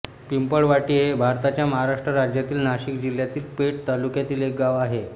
पिंपळवाटी हे भारताच्या महाराष्ट्र राज्यातील नाशिक जिल्ह्यातील पेठ तालुक्यातील एक गाव आहे